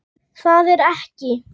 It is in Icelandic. Það er ekki.